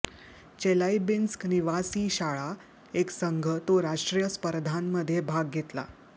Chelyabinsk निवासी शाळा एक संघ तो राष्ट्रीय स्पर्धांमध्ये भाग घेतला